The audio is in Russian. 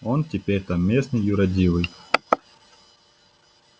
он теперь там местный юродивый